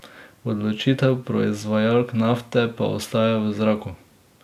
Odločitev proizvajalk nafte pa ostaja v zraku.